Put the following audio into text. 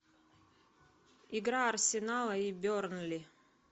игра арсенала и бернли